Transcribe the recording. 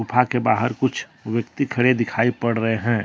गुफा के बाहर कुछ व्यक्ति खड़े दिखाई पड़ रहे है।